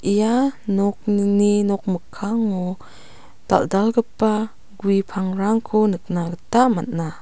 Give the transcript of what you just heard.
ia nokni nok mikkango dal·dalgipa gue pangrangko nikna gita man·a.